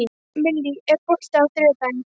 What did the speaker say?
Millý, er bolti á þriðjudaginn?